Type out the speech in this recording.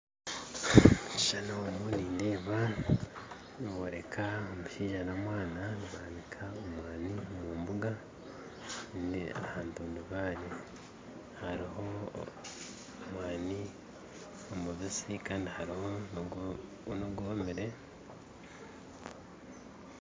Omu kishushani omu nindeeba niboreka omushaija n'omwana nibanika omwani omu mbuga hantundubare hariho omwani omubitsi kandi hariho n'ogwomere